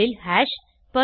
Perl ல் hash